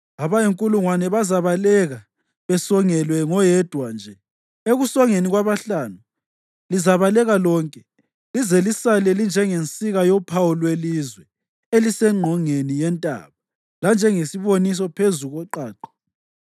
Abayinkulungwane bazabaleka besongelwe ngoyedwa nje; ekusongeni kwabahlanu, lizabaleka lonke, lize lisale linjengensika yophawu lwelizwe elisengqongeni yentaba, lanjengesiboniso phezu koqaqa.”